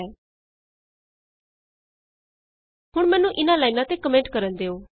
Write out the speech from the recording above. sum is greater than 20 ਹੁਣ ਮੈਨੂੰ ਇਹਨਾਂ ਲਾਈਨਾਂ ਤੇ ਕੋਮੈਂਟ ਕਰਨ ਦਿਉ